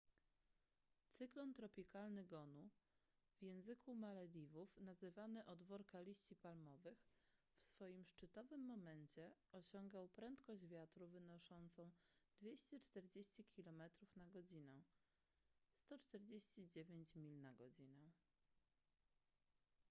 cyklon tropikalny gonu w języku malediwów nazywany od worka liści palmowych w swoim szczytowym momencie osiągał prędkość wiatru wynoszącą 240 kilometrów na godzinę 149 mil na godzinę